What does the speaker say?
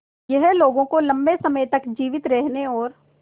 यह लोगों को लंबे समय तक जीवित रहने और